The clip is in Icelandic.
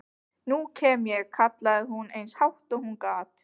Nú kem ég, kallaði hún eins hátt og hún gat.